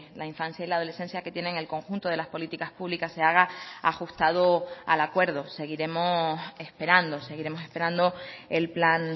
la infancia y la adolescencia que tienen el conjunto de las políticas públicas se haga ajustado al acuerdo seguiremos esperando seguiremos esperando el plan